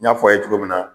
N y'a fɔ aw ye cogo min na